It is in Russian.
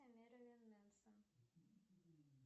мерлин менсон